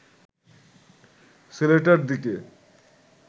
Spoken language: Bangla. ছেলেটার দিকে